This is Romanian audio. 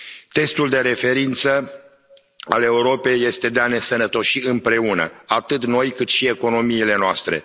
Testul de referință al Europei este de a ne însănătoși împreună, atât noi, cât și economiile noastre.